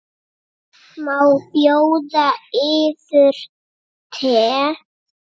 Má bjóða yður te?